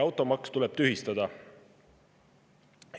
Automaks tuleb tühistada.